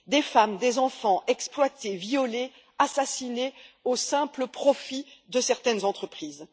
Des femmes, des enfants exploités, violés, assassinés à l'autel du simple profit de certaines entreprises.